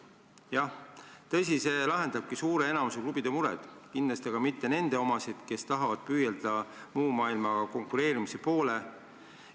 Jah, tõsi, see lahendabki suure enamiku klubide mured, kindlasti aga mitte nende omasid, kes tahavad püüelda muu maailmaga konkureerimise poole.